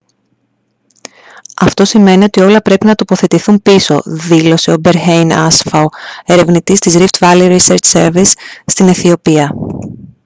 «αυτό σημαίνει ότι όλα πρέπει να τοποθετηθούν πίσω» δήλωσε ο berhane asfaw ερευνητής της rift valley research service στην αιθιοπία